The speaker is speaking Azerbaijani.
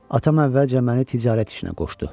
Atam əvvəlcə məni ticarət işinə qoşdu.